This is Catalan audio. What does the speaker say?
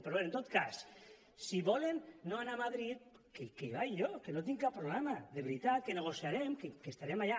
però bé en tot cas si volen no anar a madrid que hi vaig jo que no tinc cap problema de veritat que negociarem que estarem allà